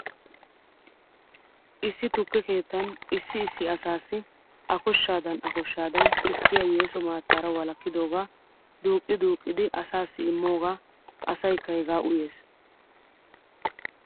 Issi tukke keettan issi issi asaassi akoshaadan a koshaadan tukkiyaa yeeso maattaara wolakkidoogaa duuqqi duuqqidi asaassi immoogaa asaykka hegaa uyes.